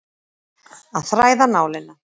Að þræða nálina